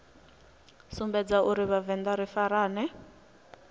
sumbedza uri vhavenḓa ri farane